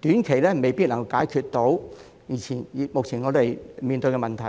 短期未必能夠解決我們目前面對的交通問題。